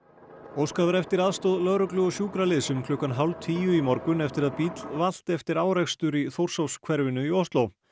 óskað var eftir aðstoð lögreglu og sjúkraliðs um klukkan hálf tíu í morgun eftir að bíll valt eftir árekstur í hverfinu í Ósló